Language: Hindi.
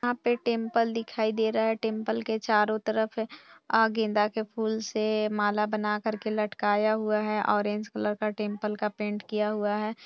यहाँ पे टेंपल दिखाई दे रहा है टेंपल के चारो तरफ अ- गेंदा के फूल से माला बनाकर के लटकाया हुआ है ऑरेंज कलर का टेंपल का पेंट किया हुआ है।